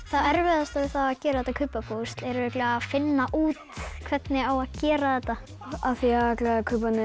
það erfiðasta við að gera þetta kubbapúsl er örugglega að finna út hvernig á að gera þetta af því allir kubbarnir